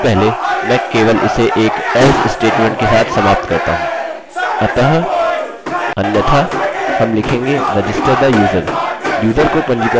यह मूलतः हमारे पासवर्ड की न्यूनतम और अधिकतम सीमा को जाँचने के लिए था और यहाँ कोड का यह ब्लॉक हमारे शानदार register the user कोड का भाग है